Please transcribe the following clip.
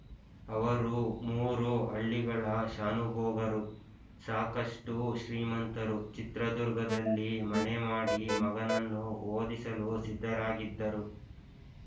ಅವರು ಮೂರು ಹಳ್ಳಿಗಳ ಶಾನುಭೋಗರು ಸಾಕಷ್ಟು ಶ್ರೀಮಂತರು ಚಿತ್ರದುರ್ಗದಲ್ಲಿ ಮನೆಮಾಡಿ ಮಗನನ್ನು ಓದಿಸಲು ಸಿದ್ಧರಾಗಿದ್ದರು